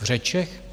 V řečech?